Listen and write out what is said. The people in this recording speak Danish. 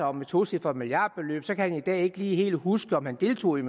om et tocifret milliardbeløb som han i dag ikke lige kan huske om han deltog i